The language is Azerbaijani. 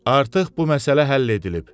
Artıq bu məsələ həll edilib.